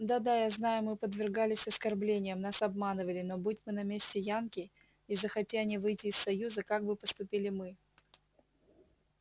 да-да я знаю мы подвергались оскорблениям нас обманывали но будь мы на месте янки и захоти они выйти из союза как бы поступили мы